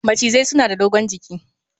Macizai suna da dogon jiki